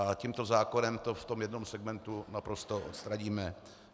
A tímto zákonem to v tom jednom segmentu naprosto odstraníme.